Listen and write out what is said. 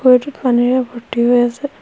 বহুতো পানীৰে ভৰ্তি হৈ আছে।